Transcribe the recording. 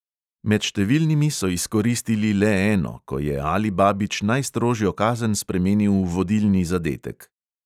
Med številnimi so izkoristili le eno, ko je alibabić najstrožjo kazen spremenil v vodilni zadetek.